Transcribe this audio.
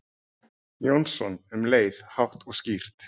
Jónsson um leið, hátt og skýrt.